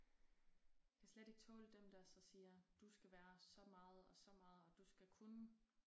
Kan slet ikke tåle dem der så siger du skal være så meget og så meget og du skal kunne